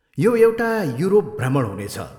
यो एउटा युरोप भ्रमण हुनेछ।